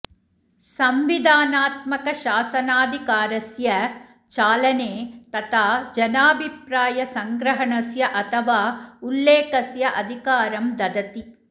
संविधानात्मकशासनाधिकारस्य चालने तथा जनाभिप्रायसंग्रहणस्य अथवा उल्लेखस्य अधिकारं ददति